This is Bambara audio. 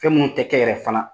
Fɛn mun tɛ kɛ yɛrɛ fana